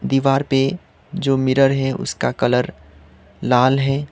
दीवार पे जो मिरर है उसका कलर लाल है।